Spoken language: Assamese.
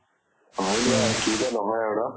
হয় দিয়া, কি যে নহয় আৰু ন।